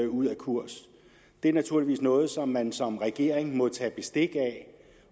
ud af kurs det er naturligvis noget som man som regering må tage bestik af